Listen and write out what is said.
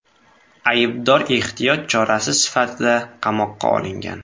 Aybdor ehtiyot chorasi sifatida qamoqqa olingan.